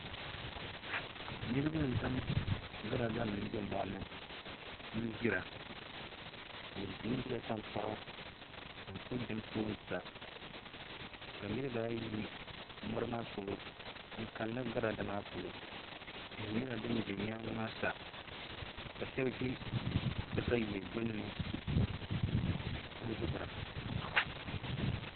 Niraba n zaŋ girada nim bɛ mori ni n gbira bi gbingbila tankpaɣu n ku dim tooni sa ka nirabaayi yi mori maa polo n kanna girada maa polo tihi nyɛla din bɛ nyaangi maa sa ka shab ʒi katawiya gbunni n duɣura